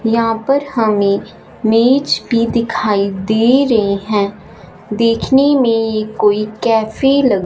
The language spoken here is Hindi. यहां पर हमें मेज भी दिखाई दे रहे हैं देखने में ये कोई कैफे लग--